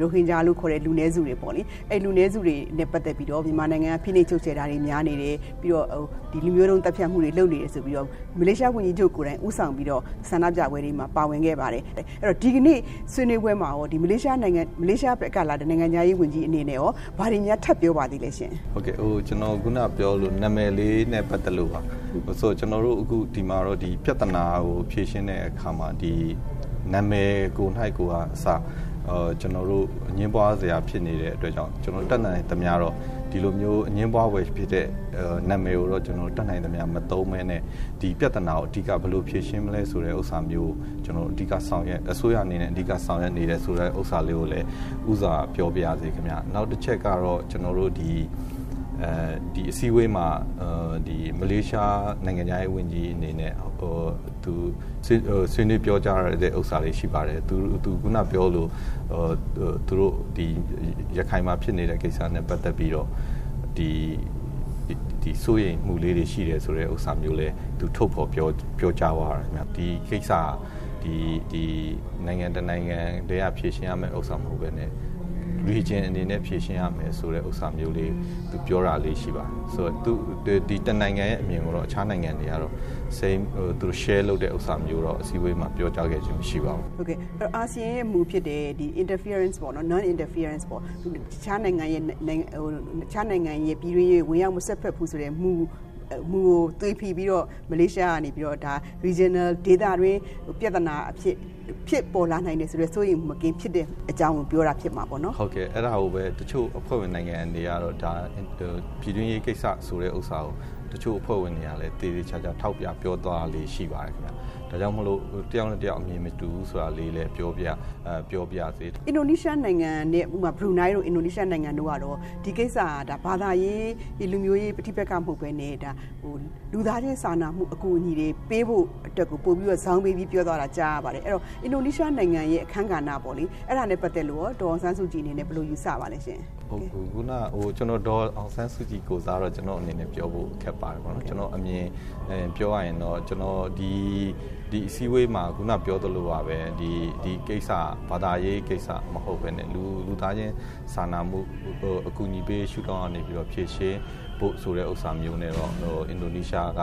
ရိုဟင်ဂျာလို့ခေါ်တဲ့ လူနည်းစုတွေပေါ့လေ၊ အဲဒီလူနည်းစုတွေနဲ့ ပတ်သက်ပြီးတော့ မြန်မာနိုင်ငံက ဖိနှိပ်ချုပ်ချယ်တာတွေ များတယ်၊ နောက်လူမျိုးတုံးသတ်ဖြတ်မှုတွေ လုပ်နေတယ်ဆိုပြီးတော့ မလေးရှားဝန်ကြီးချုပ်ကိုယ်တိုင်ဦးဆောင်ပြီးတော့ ဆန္ဒပြပွဲတွေမှာ ပါဝင်ခဲ့ပါတယ်။ အဲဒီတော့ ဒီကနေ့ဆွေးနွေးပွဲမှာရောမလေးရှားကလာတဲ့ မလေးရှားနိုင်ငံခြားရေးဝန်ကြီးအနေနဲ့ရော ဘာတွေများထပ်ပြောပါသလဲရှင့်။ ဟုတ်ကဲ့။ ကျနော်တို့ ခုနပြောသလို နာမည်လေးနဲ့ ပတ်သက်လို့ပါ။ ကျနော်တို့အခု ဒီပြဿနာကို ဖြေရှင်းတဲ့အခါမှာ နာမည်ကိုကအစ ကျနော်တို့ အငြင်းပွားစရာ ဖြစ်နေတဲ့အတွက်ကြောင့် ကျနော်တို့ တတ်နိုင်သမျှ ကျနော်တို့ ဒီလိုအငြင်းပွားဖွယ်ဖြစ်တဲ့ နာမည်ကို တတ်နိုင်သမျှ မသုံးပဲနဲ့ ဒီပြဿနာကို အဓိက အစိုးရအနေနဲ့ ဘယ်လိုဆောင်ရွက်မလဲဆိုတာကို ကျနော်တို့ အဓိက ဆောင်ရွက်နေတယ်ဆိုတာလည်း ဦးစွာ ပြောပါရစေ။ နောက်တချက်ကတော့ ဒီအစည်းအဝေးမှာ မလေးရှား နိုင်ငံခြားရေးဝန်ကြီးအနေနဲ့ ဆွေးနွေးပြောကြားတာလေးရှိပါတယ်။ ရခိုင်မှာဖြစ်နေတဲ့ ကိစ္စနဲ့ ပတ်သက်ပြီးတော့ သူစိုးရိမ်မှုလေးတွေရှိတယ်ဆိုတာလည်း သူထုတ်ဖော်ပြောကြားသွားပါတယ်။ဒီကိစ္စဟာ နိုင်ငံတနိုင်ငံ တည်းကပဲ ဖြေရှင်းရတာမဟုတ်ပဲနဲ့ Region အနေနဲ့ ဖြေရှင်းရမယ်ဆိုတာလေးပြောတာမျိုးလေးတွေရှိပါတယ်။ ဆိုတော့ ၁ နိုင်ငံရဲ့အမြင်ကို အခြားနိုင်ငံတွေက share လုပ်ပြီးတော့ အစည်းအဝေးမှာတော့ ပြောကြားခဲ့ခြင်းမရှိပါဘူး။ အာဆီယံရဲ့မူဖြစ်တဲ့ Non- Interference ပေါ့နော် တခြားနိုင်ငံရဲ့ ပြည်တွင်းရေး ဝင်ရောက်မစွက်ဖက် ဘူးဆိုတဲ့ မူကိုသွေဖီပြီးတော့ မလေးရှားကနေပြီးတော့ ဒါ Regional ဒေသတွင်း ပြဿနာအဖြစ် ဖြစ်ပေါ်လာနိုင်တယ်ဆိုတဲ့ စိုးရိမ်မူမကင်းတဲ့ အကြောင်းကိုပြောတာပေါ့နော်။ ဟုတ်ကဲ့အဲဒါကို တချို့အဖွဲ့ဝင်နိုင်ငံတွေကတော့ ဒါပြည်တွင်းရေးကိစ္စဆိုတဲ့ဟာကို တချို့အဖွဲ့ဝင်တွေကလည်း သေသေချာချာထောက်ပြပြောသွားတာလေးတွေ ရှိပါတယ်ခင်ဗျ။ ဒါကြောင့်မို့လို့ တယောက်နဲ့ တယောက်အမြင်မတူဘူးဆိုတာလေးလည်းပြောပါ၇စေ။ ဥပမာ ဘရူနိုင်တို့၊ အင်ဒိုနီးရှားနိုင်ငံတို့ကတော့ ဒီကိစ္စဟာ ဘာသာရေး လူမျိုးရေး ပဋိပက္ခ မဟုတ်ပဲနဲ့ ဒါလူသားချင်းစာနာမှုအကူအညီတွေပေးဖို့အတွက်ကို ပိုပြီးတော့ ဇောင်းပေးပြီးပြောသွားတာ ကြားရပါတယ်။ အဲဒီတော့ အင်ဒိုနီးရှားနိုင်ငံရဲ့ အခန်းကဏ္ဍပေါ့လေ အဲဒါနဲ့ ပတ်သက်လို့ ဒေါ်အောင်ဆန်းစုကြည်အနေနဲ့ ဘယ်လိုယူဆပါသလဲရှင့်။ ဒေါ်အောင်ဆန်းစုကြည်ကိုယ်စားကတော့ ကျနော့်အနေနဲ့ ပြောဖို့ခက်ပါတယ်ပေါ့နော်။ ကျနော့်အမြင်ပြောရရင်တော့ ဒီအစည်းအဝေးမှာ ခုနပြောသလိုပါပဲ ဒီဟာက ဘာသာရေးကိစ္စမဟုတ်ပဲနဲ့ ဒါလူသားချင်းစာနာမှုအကူအညီတွေ ပေးရေးရှု့ထောင့်ကနေ ဖြေရှင်းဖို့ဆိုတာမျိုးနဲ့ အင်ဒီနီးရှားက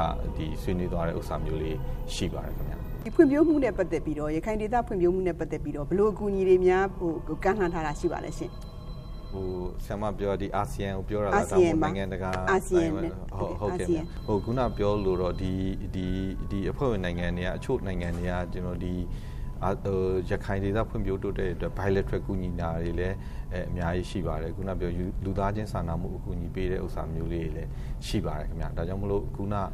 ဆွေးနွေးသွားတာမျိုးလေးရှိပါတယ်။ ရခိုင်ဒေသ ဖွံ့ဖြိုးမှုနဲ့ ပတ်သက်ပြီးတော့ ဘယ်လိုအကူအညီတွေများ ကမ်းလှမ်းထားတာရှိပါသလဲရှင့် အာဆီယံမှာ။ ခုနကပြောသလိုပေါ့ ဒီအဖွဲ့ဝင်နိုင်င့တွေမှာ အချို့အဖွဲ့ဝင် နိုင်ငံတွေက ရခိုင်ဒေသ ဖွံ့ဖြိုးရေးအတွက် Bilateral ကူညီတာတွေလည်း အများကြီးရှိပါတယ်။ ခုနကပြောသလို လူသားချင်းစာနာမှုအကူအညီတွေပေးတာမျိုးလေးတွေလည်း ရှိပါတယ်။ ဒါကြောင့်မို့လို့ ခုနက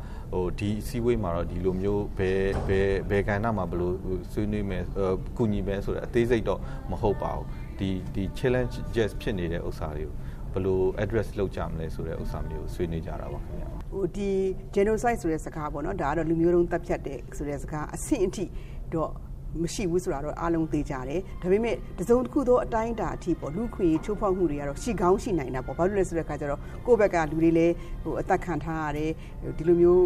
ဒီအစည်းအဝေးမှာက ဒီလိုမျိုး ဘယ်ကဏ္ဍမှာ ဘယ်လိုဆွေးနွေးမယ် ကူညီမယ်ဆိုတာ အသေးစိတ်တော့ မဟုတ်ပါဘူး။ ဒီ challenges ဖြစ်နေတဲ့ဟာတွေ ကို ဘယ်လို address လုပ်ကြမလဲဆိုတာ ဆွေးနွေးကြတာပါ။ Genocide ဆိုတဲ့လူမျိုးတုံးသတ်ဖြတ်တယ်ဆိုတဲ့ စကားအဆင့်အထိတော့ မရှိဘူးဆိုတာတော့ အားလုံးသေချာတယ်။ ဒါပေမယ့် တစုံတခုသော အတိုင်းအတာအထိပေါ့နော် လူ့အခွင့်အရေးချိုးဖောက်မှုတွေက ရှိကောင်းရှိနိုင်တယ် ဘာဖြစ်လို့လဲဆိုတော့ ကိုယ့်ဘက်က လူတွေလည်း အသတ်ခံထားရတယ်၊ ဒီလိုမျိုး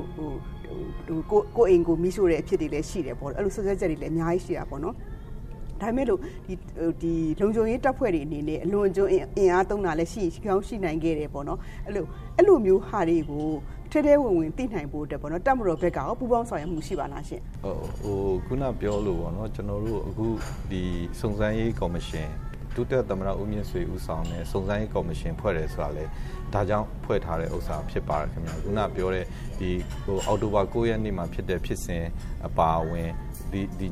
ကိုယ့်အိမ်ကို မီးရှို့တဲ့အဖြစ်တွေလည်း ရှိတယ်ပေါ့နော်၊ အဲလိုစွပ်စွဲတာတွေလည်းအများကြီးရှိတာပေါ့နော်။ ဒါပေမယ့်လို့ လုံခြုံရေးတပ်ဖွဲ့တွေအနေနဲ့ အလွန်အကျွံအင်အားသုံးတာတွေလည်း ရှိကောင်းရှိနိုင်ခဲ့တယ်ပေါ့နော် အဲလိုမျိုးဟာတွေကိုလည်း ထဲထဲဝင်ဝင်သိနိုင်ဖို့ တပ်မတော်ဘက်ကရော ပူးပေါင်းဆောင်ရွက်မှုတွေရှိပါသလားရှင့်။ ကျနော်တို့အခု စုံစမ်းရေးကော်မရှင် ဒုသမ္မတ ဦးမြင့်ဆွေ ဦးဆောင်တဲ့ စုံစမ်းရေးကော်မရှင် ဖွဲ့တယ်ဆိုတာကလည်း ဒါကြောင့်ဖွဲ့ထားတာဖြစ်ပါတယ်ခင်ဗျ။ ဒါကြောင့်ဖွဲ့ထားတဲ့ အောက်တိုဘာ ၉ ရက်နေ့မှာ ဖြစ်တဲ့ ဖြစ်စဉ်၊ အပါအဝင်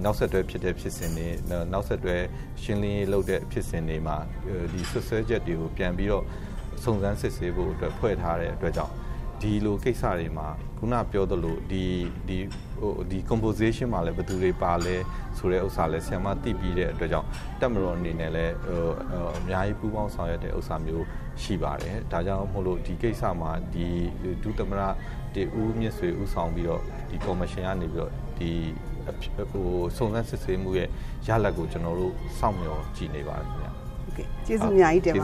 နောက်ဆက်တွဲဖြစ်တဲ့ ဖြစ်စဉ်တွေ နောက်ဆက်တွဲလုပ်တဲ့ ရှင်းလင်းရေးဖြစ်စဉ်တွေမှာ ဒီစွပ်စွဲချက်တွေကို ပြန်ပြီးတော့ စုံစမ်းစစ်ဆေးဖို့အတွက် ဖွဲ့ထားတဲ့ အတွက်ကြောင့် ဒီလိုကိစ္စတွေမှာ ခုနကပြောသလို composition မှာလည်း ဘယ်လူတွေပါသလဲဆိုတာကို ဆရာမသိပြီးတဲ့အတွက်ကြောင့် တပ်မတော်အနေနဲ့လည်း အများကြီးပူးပေါင်းဆောင်ရွက်တဲ့ဟာမျိုး ရှိပါတယ်။ ဒါကြောင့်မို့လို့ ဒီကိစ္စမှာ ဒုသမ္မတ ဦးမြင့်ဆွေ ဦးဆောင်တဲ့စုံစမ်းရေးကော်မရှင်ကနေပြီးတော့ စုံစမ်းစစ်ဆေးရလဒ်ကို ကျနော်တို့ စောင့်မျှော်ကြည့်နေပါတယ်ခင်ဗျ။ ဟုတ်ကဲ့ ကျေးဇူးအများကြီးတင်ပ